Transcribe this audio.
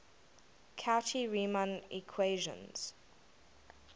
cauchy riemann equations